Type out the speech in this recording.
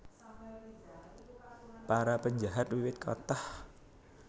Para penjahat wiwit kathah